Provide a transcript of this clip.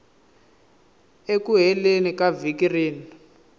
eku heleni ka vhiki rin